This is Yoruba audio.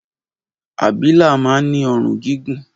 Abilà man ni òrun gígùn